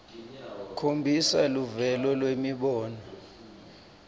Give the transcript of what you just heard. khombisa luvelo lwemibono